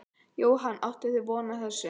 Jóhann: Áttuð þið von á þessu?